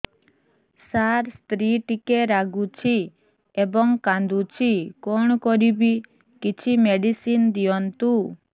ସାର ସ୍ତ୍ରୀ ଟିକେ ରାଗୁଛି ଏବଂ କାନ୍ଦୁଛି କଣ କରିବି କିଛି ମେଡିସିନ ଦିଅନ୍ତୁ